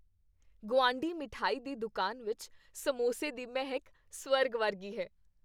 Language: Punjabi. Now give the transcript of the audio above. ਗੁਆਂਢੀ ਮਿਠਾਈ ਦੀ ਦੁਕਾਨ ਵਿੱਚ ਸਮੋਸੇ ਦੀ ਮਹਿਕ ਸਵਰ ਵਰਗੀ ਹੈ।